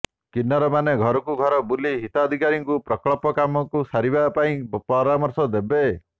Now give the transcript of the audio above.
କିନ୍ନରମାନେ ଘରକୁ ଘର ବୁଲି ହିତାଧିକାରୀଙ୍କୁ ପ୍ରକଳ୍ପ କାମକୁ ସାରିବା ପାଇଁ ପରାମର୍ଶ ଦେବେ